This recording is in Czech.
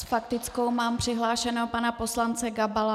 S faktickou mám přihlášeného pana poslance Gabala.